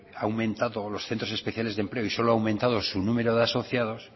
han aumentado los centros especiales de empleo y solo ha aumentado su número de asociados